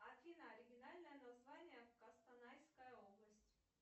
афина оригинальное название костанайская область